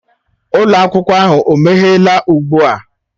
Ụlọ akwụkwọ ahụ o meghela ugbu a?